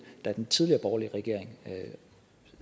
da den tidligere borgerlige regering